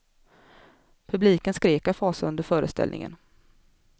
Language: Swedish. Publiken skrek av fasa under föreställningen.